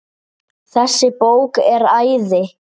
Þessi bók er æði.